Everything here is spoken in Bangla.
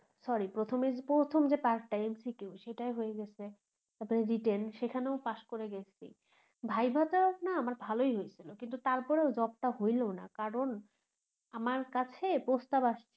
sorry প্রথমে প্রথম যে part MCQ সেটায় হয়ে গেসে তারপরে written সেখানেও পাশ করে গেছি viva তেও না আমার ভালোই হয়েছিল কিন্তু তারপরও job টা হইলো না কারন আমার কাছে প্রস্তাব আসছে